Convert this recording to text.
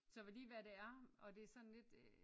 Så hvad lige hvad det er og det er sådan lidt øh